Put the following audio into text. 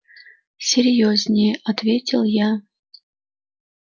серьёзнее ответил я